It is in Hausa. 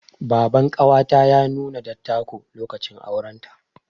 Baban ƙawata ya nuna dattako, lokacin auren ta.